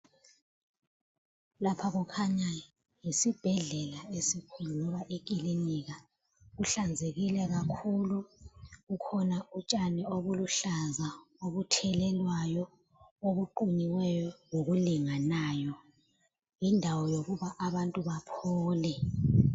Lapha kukhanya yisibhedlela esikhulu loba ikilinika kuhlanzekile kakhulu. Bukhona utshani obuluhlaza obuthelelwayo, obuqunyiweyo okulinganayo. Yindawo yokuba abantu baphole.